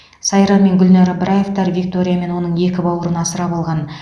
сайран мен гүлнар ыбыраевтар виктория мен оның екі бауырын асырап алған